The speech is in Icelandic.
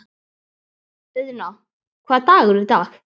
Auðna, hvaða dagur er í dag?